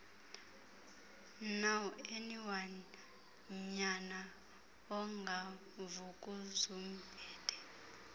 nowayenonyana ongu vukuzumbethe